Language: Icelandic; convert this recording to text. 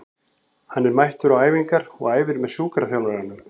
Hann er mættur á æfingar og æfir með sjúkraþjálfurunum.